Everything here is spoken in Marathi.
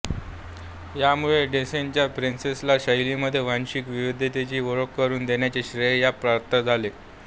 यामुळे डिस्नेच्या प्रिन्सेस शैलीमध्ये वांशिक विविधतेची ओळख करून देण्याचे श्रेय या पात्राला जाते